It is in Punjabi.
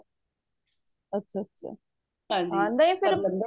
ਅੱਛਾ ਅੱਛਾ ਹਨਜੀ ਨਹੀਂ ਫੇਰ